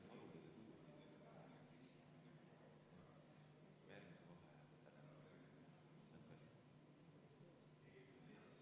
Me oleme teise muudatusettepaneku juures, mille esitaja on majanduskomisjon, ja juhtivkomisjon on seda arvestanud.